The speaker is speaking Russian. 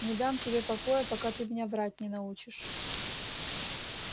не дам тебе покоя пока ты меня врать не научишь